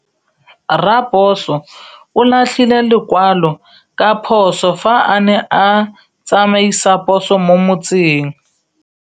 Raposo o latlhie lekwalô ka phosô fa a ne a tsamaisa poso mo motseng.